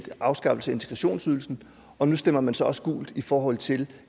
afskaffelse af integrationsydelsen og nu stemmer man så også gult i forhold til